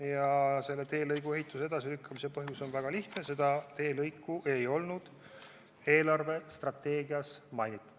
Ja selle teelõigu ehituse edasilükkamise põhjus on väga lihtne: seda teelõiku ei olnud eelarvestrateegias mainitud.